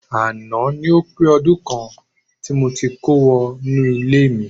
Àná ni ó pé ọdún kan tí mo ti kó wọ inú ilé mi